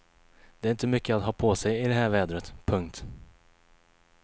Det är inte mycket att ha på sig i det här vädret. punkt